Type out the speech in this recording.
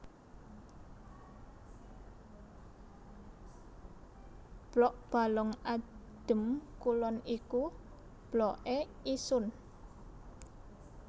Blok Balong Adem Kulon iku Blokke Isun